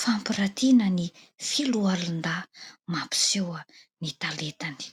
fampirantiana ny foloalindahy mampiseho ny talentany.